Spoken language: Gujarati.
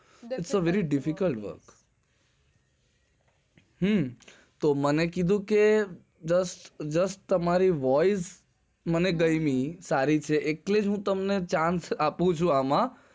its very difficult work તો મને કીધું કે તમારે voice મને ગમી સારી છે એટલે હું તમને chance આપૂંછુ એમાં